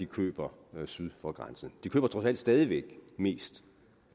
køber syd for grænsen de køber trods alt stadig væk mest